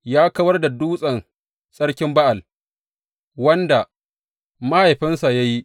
Ya kawar da dutsen tsarkin Ba’al wanda mahaifinsa ya yi.